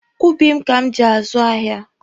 Ubi m ka m ji azụ ahịa.